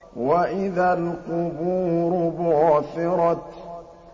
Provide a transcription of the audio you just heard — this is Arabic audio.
وَإِذَا الْقُبُورُ بُعْثِرَتْ